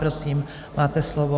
Prosím, máte slovo.